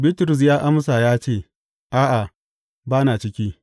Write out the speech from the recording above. Bitrus ya amsa ya ce, A’a, ba na ciki.